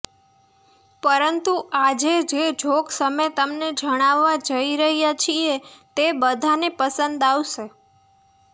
પરંતુ આજે જે જોક્સ અમે તમને જણાવવા જઈ રહ્યા છીએ તે બધાને પસંદ આવશે